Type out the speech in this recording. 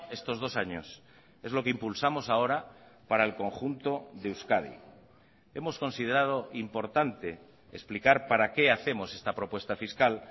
estos dos años es lo que impulsamos ahora para el conjunto de euskadi hemos considerado importante explicar para qué hacemos esta propuesta fiscal